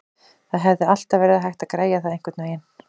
Það hefði alltaf verið hægt að græja það einhvernveginn.